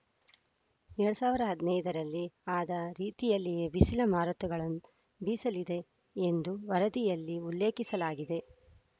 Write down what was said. ಎರಡ್ ಸಾವಿರದ ಹದಿನೈದರಲ್ಲಿ ಆದ ರೀತಿಯಲ್ಲೇ ಬಿಸಿಲ ಮಾರುತಗಳು ಬೀಸಲಿದೆ ಎಂದು ವರದಿಯಲ್ಲಿ ಉಲ್ಲೇಖಿಸಲಾಗಿದೆ